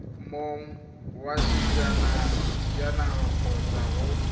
mong wa sejanaga kgotsa go